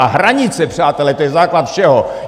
A hranice, přátelé, to je základ všeho!